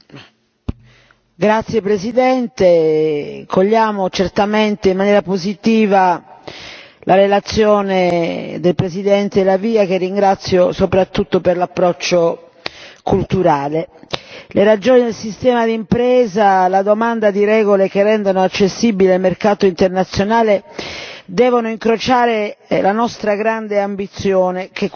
Signora Presidente, onorevoli colleghi, cogliamo certamente in maniera positiva la relazione del presidente La Via, che ringrazio soprattutto per l'approccio culturale. Le ragioni del sistema di impresa alla domanda di regole che rendono accessibile il mercato internazionale devono incrociare la nostra grande ambizione che è quella di mettere